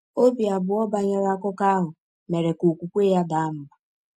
Obi abụọ banyere akụkọ ahụ mere ka okwukwe ya daa mbà.